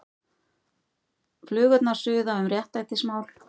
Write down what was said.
Flugurnar suða um réttlætismál